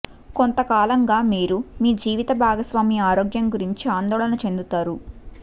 కొంతకాలంగా మీరు మీ జీవిత భాగస్వామి ఆరోగ్యం గురించి ఆందోళన చెందుతారు